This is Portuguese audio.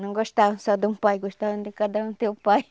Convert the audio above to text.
Não gostavam só de um pai, gostavam de cada um ter um pai.